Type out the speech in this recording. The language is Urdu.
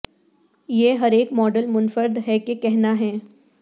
یہ ہر ایک ماڈل منفرد ہے کہ کہنا ہے